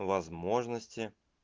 возможности